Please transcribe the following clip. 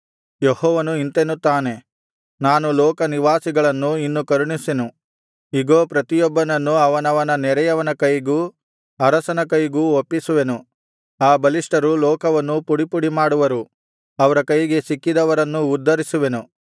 ಯೆಹೋವನು ಇಂತೆನ್ನುತ್ತಾನೆ ನಾನು ಲೋಕನಿವಾಸಿಗಳನ್ನು ಇನ್ನು ಕರುಣಿಸೆನು ಇಗೋ ಪ್ರತಿಯೊಬ್ಬನನ್ನು ಅವನವನ ನೆರೆಯವನ ಕೈಗೂ ಅರಸನ ಕೈಗೂ ಒಪ್ಪಿಸುವೆನು ಆ ಬಲಿಷ್ಠರು ಲೋಕವನ್ನು ಪುಡಿಪುಡಿಮಾಡುವರು ಅವರ ಕೈಗೆ ಸಿಕ್ಕಿದವರನ್ನು ಉದ್ಧರಿಸೆನು